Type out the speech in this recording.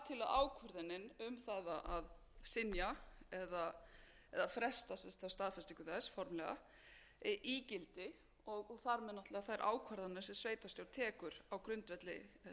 um það að synja eða fresta staðfestingu þess formlega í gildi og þar með náttúrlega þær ákvarðanir sem sveitarstjórn tekur á grundvelli þess skipulags ég held að það sé bara eitthvað sem við